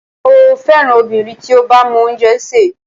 Mo féràn obìnrin tí ó bá mọ oúnjẹ sè.